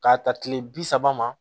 K'a ta kile bi saba ma